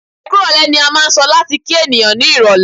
"Ẹkú ìrọ̀lẹ́" ni a máà ń sọ láti kí ènìyàn ní irọ̀lẹ́.